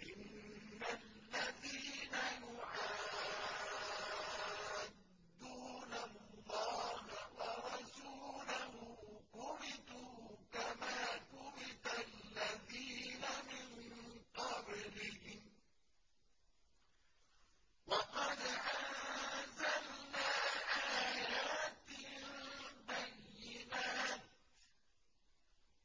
إِنَّ الَّذِينَ يُحَادُّونَ اللَّهَ وَرَسُولَهُ كُبِتُوا كَمَا كُبِتَ الَّذِينَ مِن قَبْلِهِمْ ۚ وَقَدْ أَنزَلْنَا آيَاتٍ بَيِّنَاتٍ ۚ